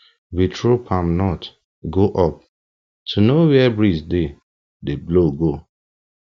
we throw palm nut go up to know where breeze dey dey blow go